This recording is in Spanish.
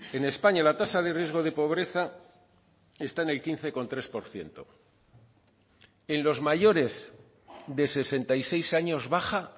en españa la tasa de riesgo de pobreza está en el quince coma tres por ciento en los mayores de sesenta y seis años baja